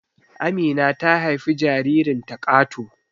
Amina ta haifi jaririnta Kato